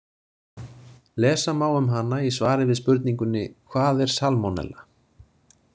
Lesa má um hana í svari við spurningunni Hvað er salmonella?